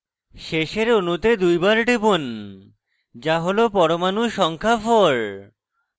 শেষের অণুতে দুইবার টিপুন to হল পরমাণু সংখ্যা 4